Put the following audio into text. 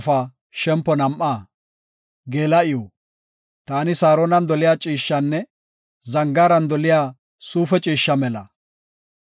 Taani Saaronan doliya ciishshanne zangaaran doliya suufe ciishsha mela.